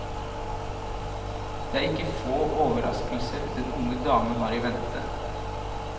Det er ikke få overraskelser den unge damen har i vente.